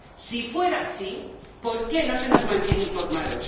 Si fuera así, ¿por qué no se nos mantiene informados?